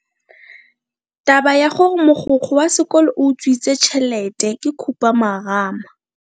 Taba ya gore mogokgo wa sekolo o utswitse tšhelete ke khupamarama.